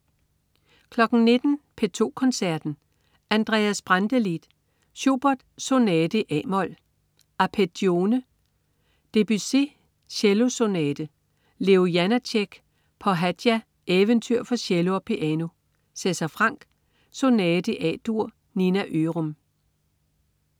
19.00 P2 Koncerten. Andreas Brantelid. Schubert: Sonate i a-mol, "Arpeggione". Debussy: Cello Sonate. Leo Janácek: Pohádka, eventyr for cello og piano. César Franck: Sonate i A-dur. Nina Ørum